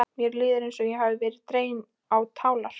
Mér líður eins og ég hafi verið dregin á tálar.